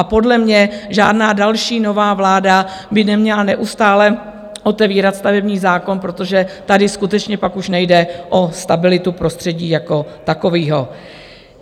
A podle mě žádná další nová vláda by neměla neustále otevírat stavební zákon, protože tady skutečně pak už nejde o stabilitu prostředí jako takového.